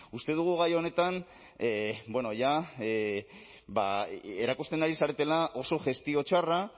uste dugu gai honetan jada erakusten ari zaretela oso gestio txarra